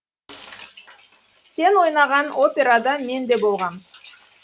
сен ойнаған операда мен де болғам